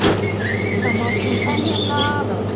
Þar má til dæmis nefna